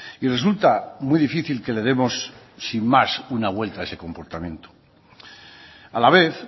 y resulta muy difícil que le demos sin más una vuelta de ese comportamiento a la vez